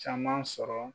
Caman sɔrɔ